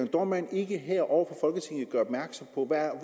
dohrmann ikke her over